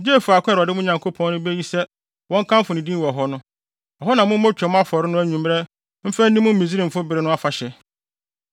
gye faako a Awurade, mo Nyankopɔn no, beyi sɛ wɔnkamfo ne din wɔ hɔ no. Ɛhɔ na mommɔ Twam afɔre no anwummere mfa nni mo Misraimfi bere no afahyɛ.